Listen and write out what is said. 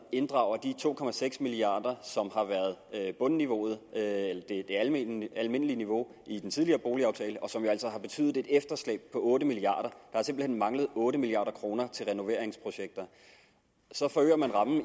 inddrager de to milliard kr som har været bundniveauet eller det almindelige almindelige niveau i den tidligere boligaftale og som jo altså har betydet et efterslæb på otte milliard kroner har simpelt hen manglet otte milliard kroner til renoveringsprojekter så forøger man